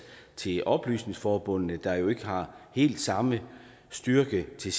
til oplysningsforbundene der jo ikke har helt samme styrke til